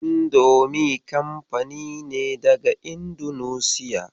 Indomi kanfani ne daga Indunusiya.